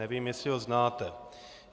Nevím, jestli ho znáte.